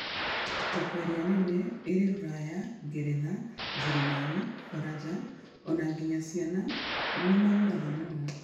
Thoko ĩria nene ĩrĩ Rũraya, Ngeretha, Njĩrĩmani, Baranja ona nginya Caina nĩ magũraga mũno